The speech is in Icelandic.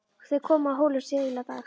Þeir komu að Hólum síðla dags.